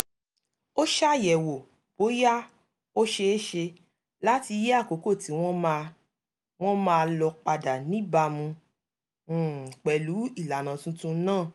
ó ṣàyẹ̀wò bóyá ó ṣeé ṣe láti yí àkókò tí wọ́n máa wọ́n máa lò padà níbàámu um pẹ̀lú ìlànà tuntun náà